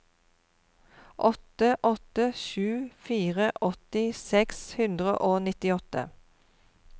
åtte åtte sju fire åtti seks hundre og nittiåtte